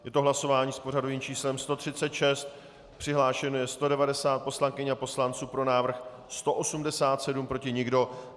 Je to hlasování s pořadovým číslem 136, přihlášeno je 190 poslankyň a poslanců, pro návrh 187, proti nikdo.